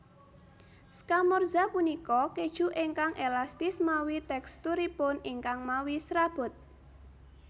Scamorza punika kèju ingkang elastis mawi teksturipun ingkang mawi serabut